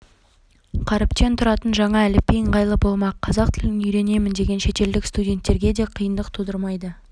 қаріптен тұратын жаңа әліпби ыңғайлы болмақ қазақ тілін үйренемін деген шетелдік студенттерге де қиындық тудырмайды